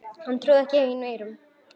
Hann trúði ekki eigin eyrum.